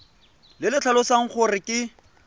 le le tlhalosang gore ke